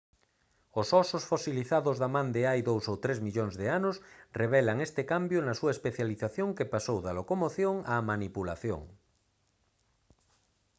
os ósos fosilizados da man de hai dous ou tres millóns de anos revelan este cambio na súa especialización que pasou da locomoción á manipulación